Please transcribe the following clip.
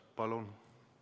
Palun!